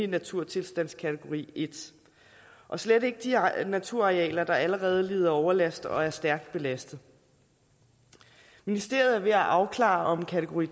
naturtilstandskategori i og slet ikke de naturarealer der allerede lider overlast og er stærkt belastet ministeriet er ved at afklare om kategori